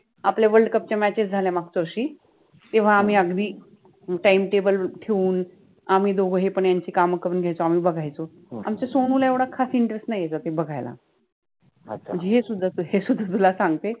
ज्या world WORLD CUP च्या matchES झाल्या मागच्या वर्षि तेव्हा आम्हि अगदि TIME TABLE ठेउन आम्हि दोघ हे पन यांचि काम करुन घ्यायचो, आमच्या सोमु ला एवढा खास INTEREST नाहि आहे cricket बघायला हे सुद्धान तुला सांगते